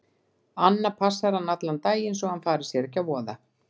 Anna passar hann allan daginn svo að hann fari sér ekki að voða.